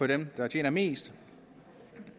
dem der tjener mest